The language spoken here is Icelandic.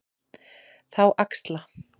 Þá axla